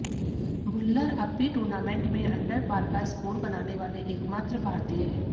भुल्लर अब भी टूर्नामेंट में अंडर पार का स्कोर बनाने वाले एकमात्र भारतीय हैं